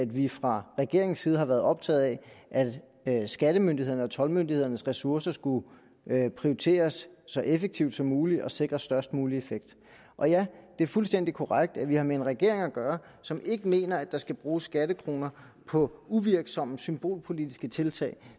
vi fra regeringens side har været optaget af at skattemyndighedernes og toldmyndighedernes ressourcer skulle prioriteres så effektivt som muligt og sikre størst mulige effekt og ja det er fuldstændig korrekt at vi har med en regering at gøre som ikke mener at der skal bruges skattekroner på uvirksomme symbolpolitiske tiltag